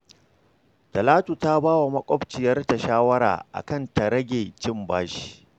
Talatu ta ba wa maƙwabciyarta shawara a kan ta rage cin bashi